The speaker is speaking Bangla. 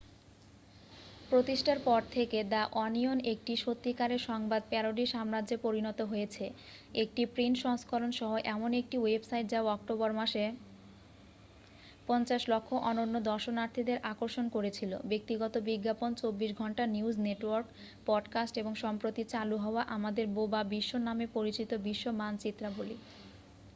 প্রতিষ্ঠার পর থেকে দ্যা ওনিয়ন একটি সত্যিকারের সংবাদ প্যারোডি সাম্রাজ্যে পরিণত হয়েছে একটি প্রিন্ট সংস্করণ সহ এমন একটি ওয়েবসাইট যা অক্টোবর মাসে ৫,০০০,০০০ অনন্য দর্শনার্থীদের আকর্ষণ করেছিল ব্যক্তিগত বিজ্ঞাপন ২৪ ঘন্টা নিউজ নেটওয়ার্ক পডকাস্ট এবং সম্প্রতি চালু হওয়া আমাদের বোবা বিশ্ব নামে পরিচিত বিশ্ব মানচিত্রাবলী ।